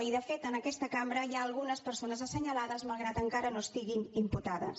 i de fet en aquesta cambra hi ha algunes persones assenyalades malgrat que encara no estiguin imputades